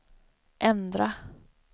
ändra